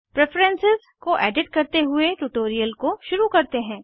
preferences को edit करते हुए ट्यूटोरियल को शुरू करते हैं